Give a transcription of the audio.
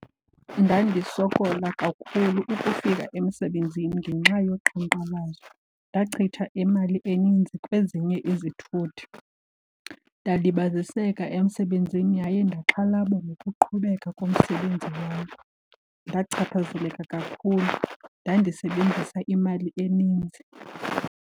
Ndandisokola kakhulu ukufika emsebenzini ngenxa yoqhankqalazo. Ndachitha imali eninzi kwezinye izithuthi, ndalibaziseka emsebenzini yaye ndaxhalaba nokuqhubeka komsebenzi wam. Ndachaphazeleka kakhulu, ndandisebenzisa imali eninzi.